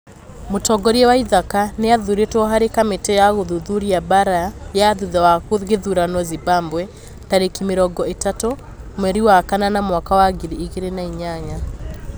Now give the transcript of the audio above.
Mũtongoria waithaka nĩ athurĩtwo harĩ kamĩtĩ ya gũthuthuria mbaara ya thutha wa gĩthurano Zimbabwe tarĩki mĩrongo ĩtatũ mweri wa kanana mwaka wa ngiri igĩrĩ na inyanya